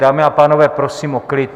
Dámy a pánové, prosím o klid.